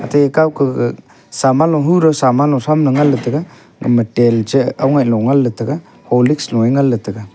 te kawkah gag saman lohu raw saman lo thramley nganley taiga gama tel cheh angoi longwan taiga horlicks loe nganley taiga.